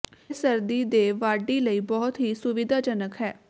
ਇਹ ਸਰਦੀ ਦੇ ਵਾਢੀ ਲਈ ਬਹੁਤ ਹੀ ਸੁਵਿਧਾਜਨਕ ਹੈ